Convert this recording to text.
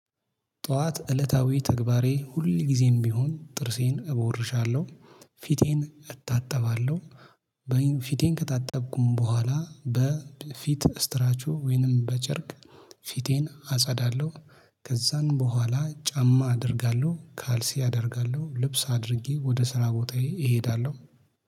ጧት እለታዊ ተግባሬ ሁል ጊዜም ቢሆን ጥርሴን እቦርሻለሁ ፊቴን እታጠባለሁ። ፊቴን ከታጠብኩም በኋላ በፊት ስትራቾ ወይንም በጨርቅ ፊቴን አጸዳለሁ። ከዛን በኋላ ጫማ አደርጋለሁ ካልሲ አደርጋለሁ ልብስ አድርጌ ወደ ስራ ቦታዬ እሄዳለሁ